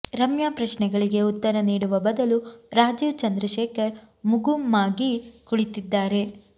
ರಮ್ಯಾ ಪ್ರಶ್ನೆಗಳಿಗೆ ಉತ್ತರ ನೀಡುವ ಬದಲು ರಾಜೀವ್ ಚಂದ್ರಶೇಖರ್ ಮುಗುಮ್ಮಾಗಿ ಕುಳಿತಿದ್ದಾರೆ